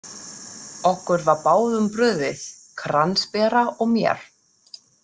Okkur var báðum brugðið, kransbera og mér.